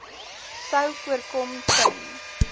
sou voorkom ten